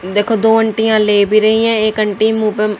देखो दो आंटीया ले भी रही हैं एक आंटी मुंह पे--